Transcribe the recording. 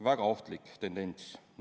Väga ohtlik tendents!